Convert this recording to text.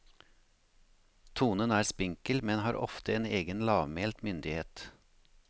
Tonen er spinkel, men har ofte en egen lavmælt myndighet.